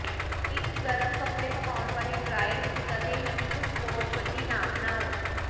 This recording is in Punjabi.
ਇੱਕ ਗਰਮ ਕੱਪੜੇ ਪਕਾਉਣ ਵਾਲੇ ਡ੍ਰਾਇਰ ਵਿੱਚ ਕਦੇ ਵੀ ਇਕ ਸਪੋਰਟਸ ਵਰਦੀ ਨਾ ਬਣਾਓ